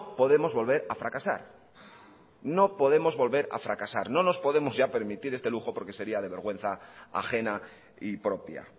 podemos volver a fracasar no podemos volver a fracasar no nos podemos ya permitir este lujo porque sería de vergüenza ajena y propia